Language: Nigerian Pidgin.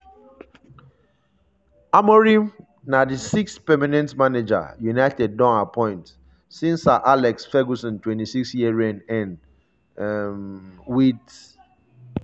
amorim na di sixth permanent manager united don appoint since sir alex ferguson 26-year reign end um wit